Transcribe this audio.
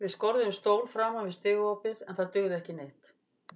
Við skorðuðum stól framan við stigaopið en það dugði ekki neitt.